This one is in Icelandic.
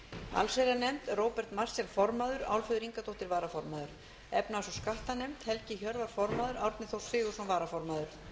allsherjarnefnd róbert marshall formaður álfheiður ingadóttir varaformaður efnahags og skattanefnd helgi hjörvar formaður árni þór sigurðsson varaformaður